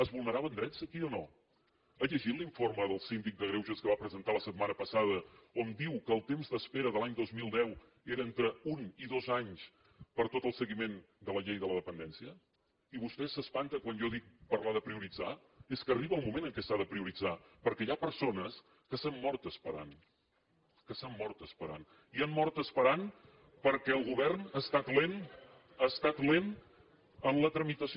es vulneraven drets aquí o no ha llegit l’informe del síndic de greuges que va presentar la setmana passada on diu que el temps d’espera de l’any dos mil deu era entre un i dos anys per a tot el seguiment de la llei de la dependència i vostè s’espanta quan jo dic parlar de prioritzar és que arriba un moment en què s’ha de prioritzar perquè hi ha persones que s’han mort esperant que s’han mort esperant i han mort esperant perquè el govern ha estat lent ha estat lent en la tramitació